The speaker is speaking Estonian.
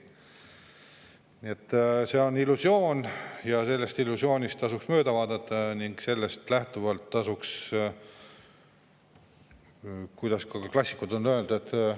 Nii et see on illusioon ja sellest illusioonist tasuks mööda vaadata ning sellest lähtuvalt tasuks – kuidas klassikud on öelnud?